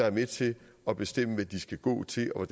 er med til at bestemme hvad de skal gå til og